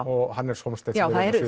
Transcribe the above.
og Hannes Hólmsteinn